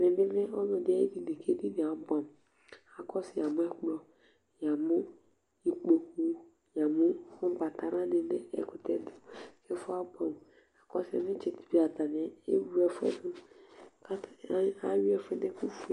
Ɛmɛ bɩ lɛ ɔlɔdɩ ayedini, kedinie abʋɛ amʋ akɔsʋ yamʋ ɛkplɔ, yamʋ ikpoku